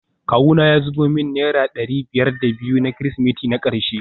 Kawuna ya zubo min naira dari biyar da biyu na kirsimeti na karshe